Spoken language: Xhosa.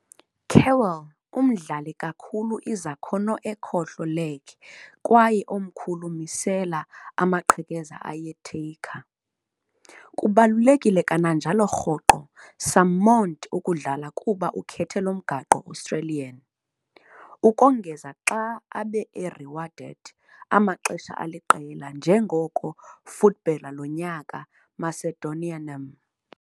Kewell yi umdlali kakhulu izakhono nge ekhohlo leg kwaye omkhulu misela amaqhekeza aye taker. Kubalulekile kananjalo rhoqo summoned ukudlala kuba Ukhetho lomgaqo-Australian, ukongeza xa ebe awarded amaxesha aliqela njengoko footballer lonyaka Macedonianame.